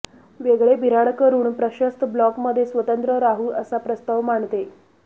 वेगळे बिऱ्हाड करून प्रशस्त ब्लॉकमध्ये स्वतंत्र राहू असा प्रस्ताव मांडते